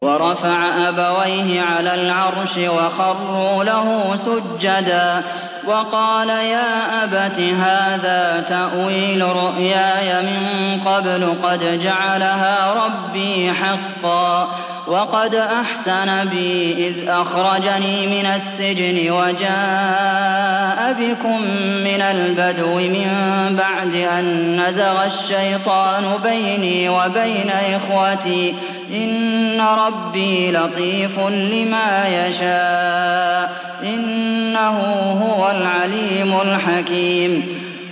وَرَفَعَ أَبَوَيْهِ عَلَى الْعَرْشِ وَخَرُّوا لَهُ سُجَّدًا ۖ وَقَالَ يَا أَبَتِ هَٰذَا تَأْوِيلُ رُؤْيَايَ مِن قَبْلُ قَدْ جَعَلَهَا رَبِّي حَقًّا ۖ وَقَدْ أَحْسَنَ بِي إِذْ أَخْرَجَنِي مِنَ السِّجْنِ وَجَاءَ بِكُم مِّنَ الْبَدْوِ مِن بَعْدِ أَن نَّزَغَ الشَّيْطَانُ بَيْنِي وَبَيْنَ إِخْوَتِي ۚ إِنَّ رَبِّي لَطِيفٌ لِّمَا يَشَاءُ ۚ إِنَّهُ هُوَ الْعَلِيمُ الْحَكِيمُ